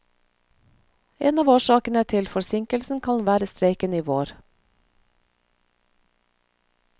En av årsakene til forsinkelsen kan være streiken i vår.